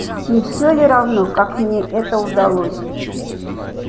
не всё ли равно как мне это удалось